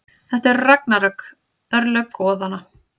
Þetta eru ragnarök, örlög goðanna.